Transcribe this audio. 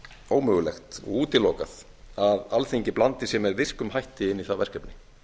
ómögulegt og útilokað að alþingi blandi sér með virkum hætti inn í það verkefni